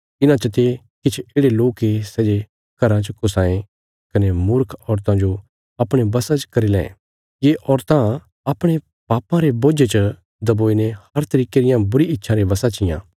इन्हां चते किछ येढ़े लोक ये सै जे घराँ च घुसां ये कने मूर्ख औरतां जो अपणे बशा च करी लैं ये औरतां अपणे पापां रे बोझे च दबोईने हर तरिके रियां बुरी इच्छां रे बशा चियां